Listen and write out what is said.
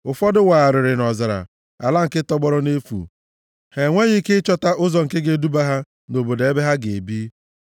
Ụfọdụ wagharịrị nʼọzara, ala nke tọgbọrọ nʼefu, ha enweghị ike ịchọta ụzọ nke ga-eduba ha nʼobodo ebe ha ga-ebi.